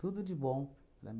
Tudo de bom para mi